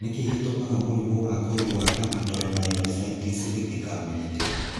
Nĩkĩĩ gĩtumaga mũrimũ wa ngothi wa dermatomyositis gĩtikamenyeke